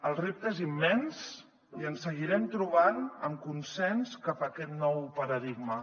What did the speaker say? el repte és immens i ens seguirem trobant amb consens cap a aquest nou paradigma